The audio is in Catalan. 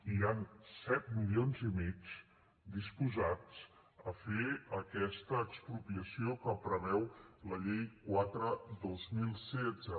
hi han set milions i mig disposats a fer aquesta expropiació que preveu la llei quatre dos mil setze